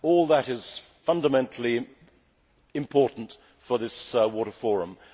All that is fundamentally important for this water forum.